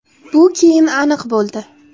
Bu keyin aniq bo‘ldi.